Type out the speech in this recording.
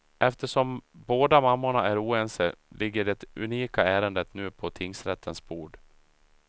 Eftersom båda mammorna är oense ligger det unika ärendet nu på tingsrättens bord.